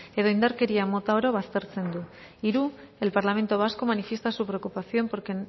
edo indarkeria mota oro baztertzen du hiru el parlamento vasco manifiesta su preocupación porque